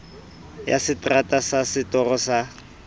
ya seterata sa setoro sa